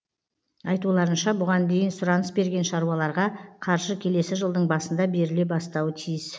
айтуларынша бұған дейін сұраныс берген шаруаларға қаржы келесі жылдың басында беріле бастауы тиіс